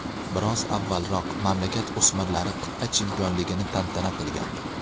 Biroz avvalroq mamlakat o‘smirlari qit’a chempionligini tantana qilgandi.